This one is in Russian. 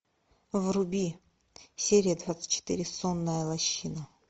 вруби серия двадцать четыре сонная лощина